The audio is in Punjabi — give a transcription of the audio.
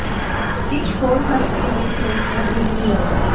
ਇਕ ਹੋਰ ਹੱਲ ਏ ਲਈ ਸਰੋਤ ਹੈ ਬ੍ਰਿਜਿੰਗ ਲੋਨ